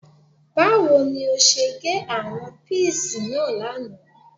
Báwo ni ó ṣe gé àwọn píìsì náà lánàá